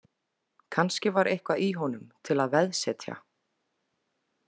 Kannski var eitthvað í honum til að veðsetja.